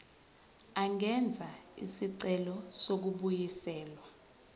angenza isicelo sokubuyiselwa